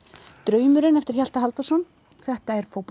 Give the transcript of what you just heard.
draumurinn eftir Hjalta Halldórsson þetta er